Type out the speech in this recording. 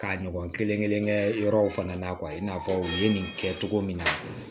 K'a ɲɔgɔn kelen kelen kelen kɛ yɔrɔw fana na i n'a fɔ u ye nin kɛ cogo min na